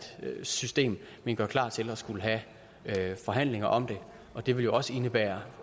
system men gør klar til at skulle have forhandlinger om det og det vil jo også indebære